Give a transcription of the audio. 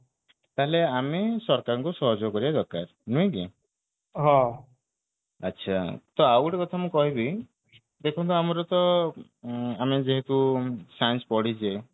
ତାହାଲେ ଆମେ ସରକାରଙ୍କୁ ସହଯୋଗ କରିବା ଦରକାର ନୁହେଁ କି ଆଚ୍ଛା ତ ଆଉଗୋଟେ କଥା ମୁଁ କହିବି ଦେଖନ୍ତୁ ଆମର ତ ଆମେ ଯେହେତୁ science ପଢିଛେ